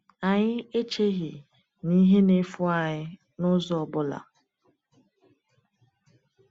Anyị echeghị na ihe na-efu anyị n’ụzọ ọ bụla.